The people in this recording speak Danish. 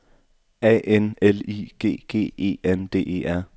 A N L I G G E N D E R